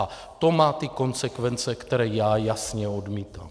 A to má ty konsekvence, které já jasně odmítám.